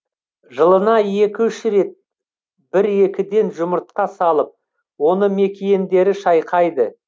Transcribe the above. жылына екі үш рет бір екіден жұмыртқа салып оны мекиендері шайқайды